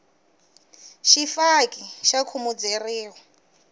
xifaki xa khumuzeriwa